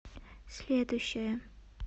следующая